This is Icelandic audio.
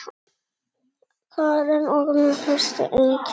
Karen: Og með fyrstu einkunn?